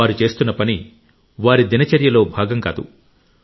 వారు చేస్తున్న పని వారి దినచర్యలో భాగం కాదు